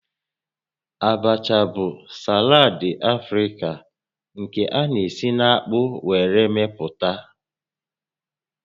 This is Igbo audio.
Abacha bụ salad Afrịka nke a na-esi na akpu were meputa